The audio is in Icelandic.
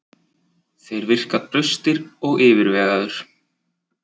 Þeir virka traustir og yfirvegaður.